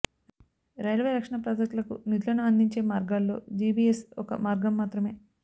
railway రక్షణ ప్రాజెక్టులకు నిధులను అందించే మార్గాల్లో జీబీఎస్ ఒక మార్గం మాత్రమే